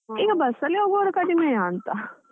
bus ಅಲ್ಲಿ ಹೋಗುವವರು ಕಡಿಮೆಯ ಅಂತ .